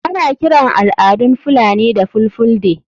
Ana kiran al'adun fulani da ''fulfulde''